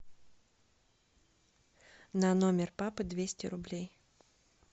на номер папы двести рублей